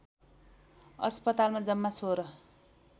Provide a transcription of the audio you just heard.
अस्पतालमा जम्मा १६